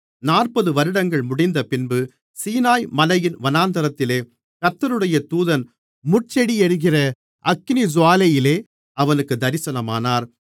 நாற்பது வருடங்கள் முடிந்தபின்பு சீனாய்மலையின் வனாந்திரத்திலே கர்த்தருடைய தூதன் முட்செடி எரிகிற அக்கினிஜூவாலையிலே அவனுக்குத் தரிசனமானார்